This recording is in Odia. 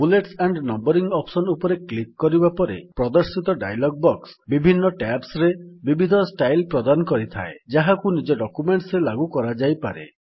ବୁଲେଟ୍ସ ଆଣ୍ଡ୍ ନମ୍ୱରିଙ୍ଗ୍ ଅପ୍ସନ୍ ଉପରେ କ୍ଲିକ୍ କରିବା ପରେ ପ୍ରଦର୍ଶିତ ଡାୟଲଗ୍ ବକ୍ସ ବିଭିନ୍ନ ଟ୍ୟାବ୍ସରେ ବିବିଧ ଷ୍ଟାଇଲ୍ ପ୍ରଦାନ କରିଥାଏ ଯାହାକୁ ନିଜ ଡକ୍ୟୁମେଣ୍ଟ୍ ରେ ଲାଗୁ କରାଯାଇପାରେ